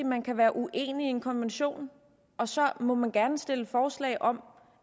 man kan være uenig i en konvention og så må man gerne stille forslag om